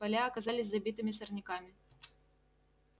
поля оказались забитыми сорняками